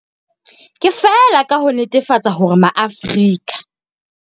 Ke feela ka ho netefatsa hore Maafrika.